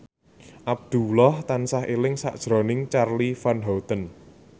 Abdullah tansah eling sakjroning Charly Van Houten